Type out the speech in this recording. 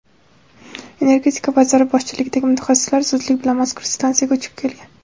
Energetika vaziri boshchiligidagi mutaxassislar zudlik bilan mazkur stansiyaga uchib ketgan.